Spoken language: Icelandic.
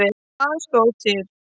Hvað stóð til?